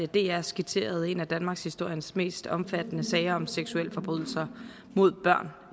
dr skitserede en af danmarkshistoriens mest omfattende sager om seksualforbrydelser mod børn